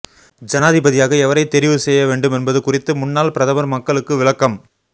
ஜனாதிபதியாக எவரை தெரிவு செய்ய வேண்டுமென்பது குறித்து முன்னாள் பிரதமர் மக்களுக்கு விளக்கம்